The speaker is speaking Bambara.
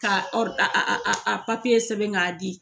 Ka ka a a papiye sɛbɛn k'a di.